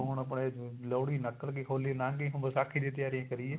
ਹੁਣ ਆਪਣੇ ਲੋਹੜੀ ਨਿਕਲ ਗਈ ਹੋਲੀ ਲੰਗ ਗਈ ਹੁਣ ਵਿਸਾਖੀ ਦੀ ਤਿਆਰੀ ਕਰੀਏ